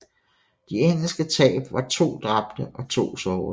De engelske tab var to dræbte og to sårede